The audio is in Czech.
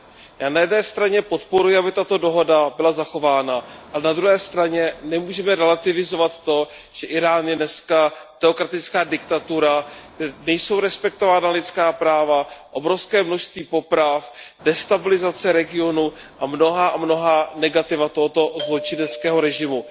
Já na jedné straně podporuji, aby tato dohoda byla zachována, ale na druhé straně nemůžeme relativizovat to, že Írán je dneska teokratická diktatura, kde nejsou respektována lidská práva, kde je obrovské množství poprav, destabilizace regionu a mnohá a mnohá negativa tohoto zločineckého režimu.